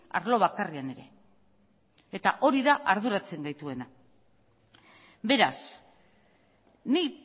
arlo bakarrean ere eta hori da arduratzen gaituena beraz ni